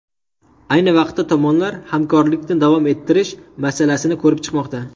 Ayni vaqtda tomonlar hamkorlikni davom ettirish masalasini ko‘rib chiqmoqda.